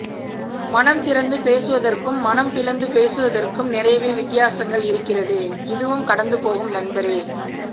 மனம் திறந்து பேசுவதற்கும் மனம் பிளந்து பேசுவதற்கும் நிறையவே வித்தியாசங்கள் இருக்கிறது இதுவும் கடந்து போகும் நண்பரே